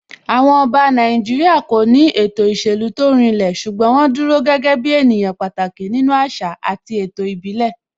Àwọn Ọba Nàìjíríà kò ní ètò ìṣèlú tó rinlẹ̀ ṣùgbọ́n wọ́n dúró gẹ́gẹ́ ènìyàn pàtàkì nínú àṣà àti ètò ìbílẹ̀